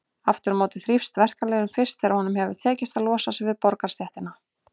Aftur á móti þrífst verkalýðurinn fyrst þegar honum hefur tekist að losa sig við borgarastéttina.